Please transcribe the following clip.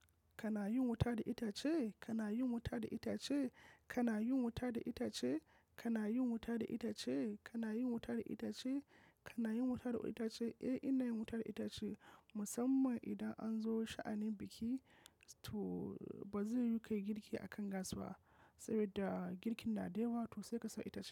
Kana yin wuta da itace? Kana yin wuta da itace? Kana yin wuta da itace? Kana yin wuta da itace? Kana yin wuta da itace? Kana yin wuta da itace? Eh, ina yin wuta da itace. Musamman idan an zo sha'anin biki to ba zai yiwu kayi girki a kan gas ba, saboda girkin na da yawa to sai ka sa itace.